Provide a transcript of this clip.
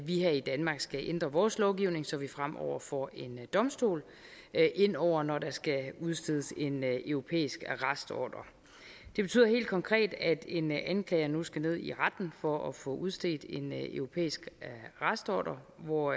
vi her i danmark skal ændre vores lovgivning så vi fremover får en domstol ind over når der skal udstedes en europæisk arrestordre det betyder helt konkret at en anklager nu skal gå i retten for at få udstedt en europæisk arrestordre hvor